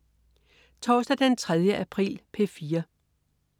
Torsdag den 3. april - P4: